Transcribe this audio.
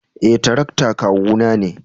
Eh, tarakta kawu na ne.